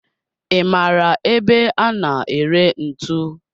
I maara ebe a na ere ntu?